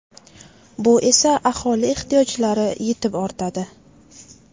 Bu esa aholi ehtiyojlari yetib ortadi.